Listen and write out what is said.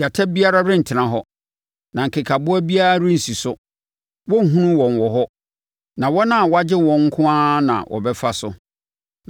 Gyata biara rentena hɔ, na nkekaboa biara rensi so; wɔrenhunu wɔn wɔ hɔ. Na wɔn a wɔagye wɔn nko ara na wɔbɛfa so,